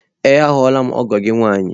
Ee ahụla m ọgọ gị nwaanyị.